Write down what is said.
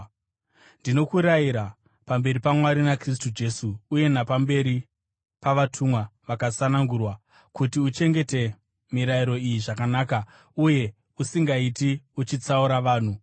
Ndinokurayira, pamberi paMwari naKristu Jesu uye napamberi pavatumwa vakasanangurwa, kuti uchengete mirayiro iyi zvakanaka, uye usingaiti uchitsaura vanhu.